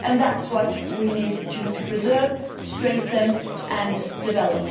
and that's what we need to preserve, strengthen and develop.